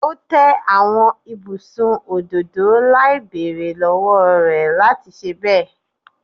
O te awọn ibusun ododo lai beere lọwọ rẹ lati ṣe bẹ